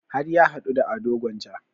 Har ya haɗu da ado gwanja